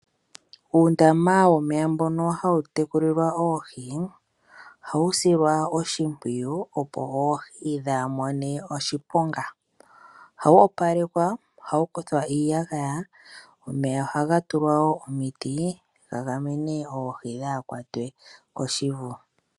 Uundama womeya mbono hawu tekulilwa oohi, ohawu silwa oshimpwiyu opo oohi ka dhi mone oshiponga, ohawu opalekwa, ohawu kuthwa iiyagaya, omeya ohaga tulwa omiti, ga gamene oohi ka dhi kwatwe koshivu.